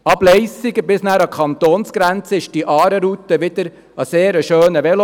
Ab Leissigen bis zur Kantonsgrenze ist die Aare-Route wieder ein sehr schöner Veloweg.